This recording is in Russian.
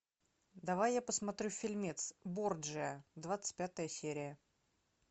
давай я посмотрю фильмец борджиа двадцать пятая серия